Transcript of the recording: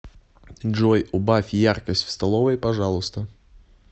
джой убавь яркость в столовой пожалуйста